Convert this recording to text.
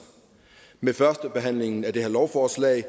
med førstebehandlingen af det her lovforslag